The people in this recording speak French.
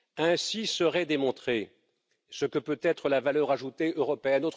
Ainsi serait démontrée ce que peut être la valeur ajoutée européenne.